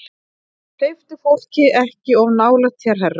Hleyptu fólki ekki of nálægt þér, herra